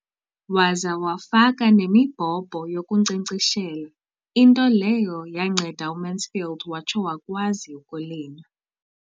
Waza wafaka nemibhobho yokunkcenkceshela, into leyo yanceda uMansfield watsho wakwazi ukulima.